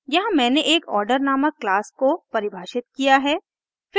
यहाँ मैंने एक order नामक क्लास को परिभाषित किया है